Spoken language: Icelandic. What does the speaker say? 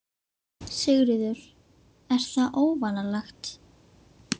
Sigríður: Er það óvanalegt?